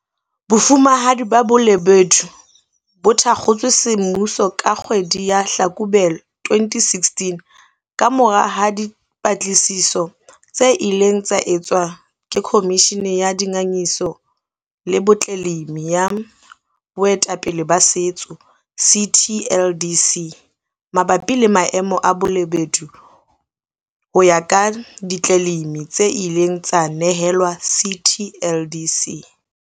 Bofumahadi ba Bolobedu bo thakgotswe semmuso ka kgwedi ya Hlakubele 2016 kamorao ha dipatlisiso tse ileng tsa etswa ke Khomishini ya Dingangisano le Ditleleimi ya Boetapele ba Setso, CTLDC, mabapi le maemo a Balobedu ho ya ka ditleleimi tse ileng tsa nehelwa CTLDC.